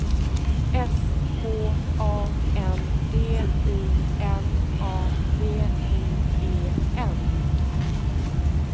S K A N D I N A V I E N